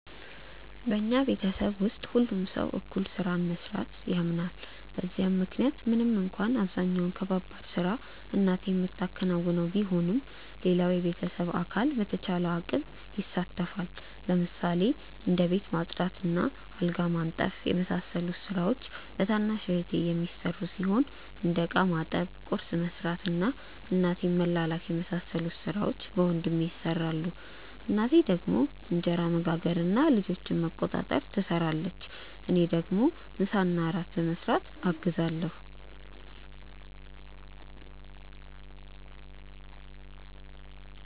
በኛ ቤተሰብ ውስጥ ሁሉም ሰው እኩል ስራን በመስራት ያምናል በዛም ምክንያት ምንም እንኳን አብዛኛውን ከባባድ ስራ እናቴ ምታከናውነው ቢሆንም ሌላውም የቤተሰብ አካል በቻለው አቅም ይሳተፋል። ለምሳሌ እንደ ቤት ማጽዳት እና አልጋ ማንጠፍ የመሳሰሉት ስራዎች በታናሽ እህቴ የሚሰሩ ሲሆን እንደ እቃ ማጠብ፣ ቁርስ መስራት እና እናቴን መላላክ የመሳሰሉት ሥራዎች በወንድሜ ይሰራሉ። እናቴ ደግሞ እንጀራ መጋገር እና ልጆችን መቆጣጠር ትሰራለች። እኔ ደግሞ ምሳና እራት በመስራት አግዛለሁ።